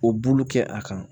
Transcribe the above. O bulu kɛ a kan